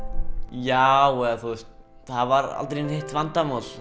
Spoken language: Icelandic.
já eða þú veist það var aldrei neitt vandamál